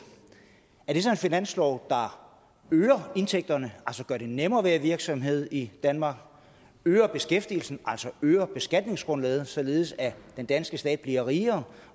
en finanslov der øger indtægterne altså gør det nemmere at være virksomhed i danmark øger beskæftigelsen altså øger beskatningsgrundlaget således at den danske stat bliver rigere